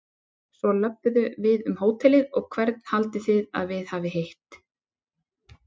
Svo löbbuðu við um hótelið og hvern haldið þið að við hafi hitt?